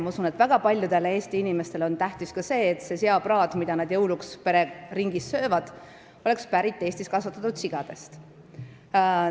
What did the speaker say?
Ma usun, et väga paljudele Eesti inimestele on tähtis ka see, et seapraad, mida nad jõuluajal pereringis söövad, oleks tehtud Eestis kasvatatud sigadest.